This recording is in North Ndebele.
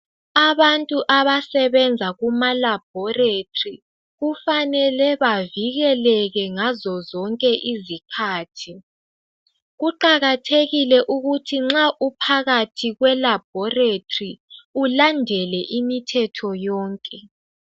Abantu abasebenza kumalabhoretri, kufanele bavikeleke ngazo zonke izikhathi. Kuqakathekile ukuthi nxa uphakathi kwelabhoretri, ulandele imithetho yonke.